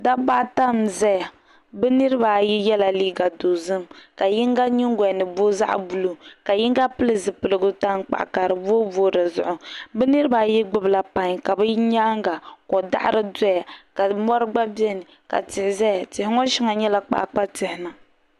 Dabba ata n ʒɛya bi niraba ayi yɛla liiga dozim ka yinga nyingolini booi zaɣ buluu ka yinga pili zipiligu tankpaɣu ka di booi booi dizuɣu bi niraba ayi gbubila pai ka bi nyaanga ko daɣari doya ka mori gba biɛni ka tihi ʒɛya tihi ŋo shɛli nyɛla kpaakpa tihi